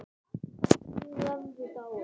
Tíu höfðu dáið.